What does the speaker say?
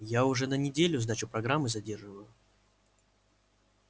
я уже на неделю сдачу программы задерживаю